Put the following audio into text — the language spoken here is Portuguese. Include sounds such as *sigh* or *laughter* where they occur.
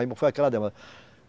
Aí *unintelligible* foi aquela demora